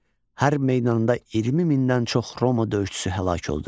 Hər meydanında 20 mindən çox Roma döyüşçüsü həlak oldu.